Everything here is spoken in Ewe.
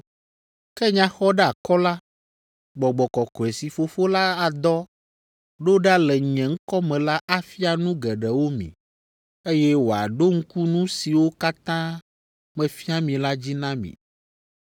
Ke Nyaxɔɖeakɔla, Gbɔgbɔ Kɔkɔe si Fofo la adɔ ɖo ɖa le nye ŋkɔ me la afia nu geɖewo mi, eye wòaɖo ŋku nu siwo katã mefia mi la dzi na mi.